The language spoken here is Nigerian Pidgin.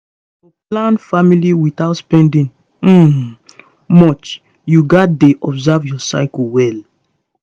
to plan family without spending um much you gats dey observe your cycle well